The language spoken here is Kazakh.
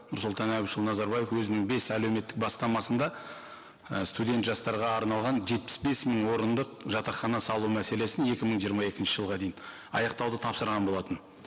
нұрсұлтан әбішұлы назарбаев өзінің бес әлеуметтік бастмасында і студент жастарға арналған жетпіс бес мың орындық жатақхана салу мәселесін екі мың жиырма екінші жылға дейін аяқтауды тапсырған болатын